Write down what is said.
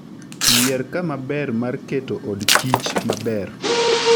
Yier kama ber mar keto od kich maber